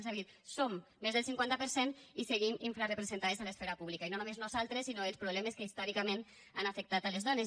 és a dir som més del cinquanta per cent i seguim infrarepresentades a l’esfera pública i no només nosaltres sinó els problemes que històricament han afectat les dones